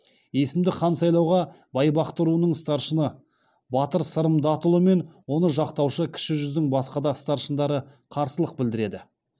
есімді хан сайлауға байбақты руының старшыны батыр сырым датұлы мен оны жақтаушы кіші жүздің басқа да старшындары қарсылық білдіреді